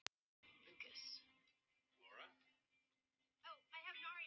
Hrærið vel í á meðan svo ekki myndist kekkir.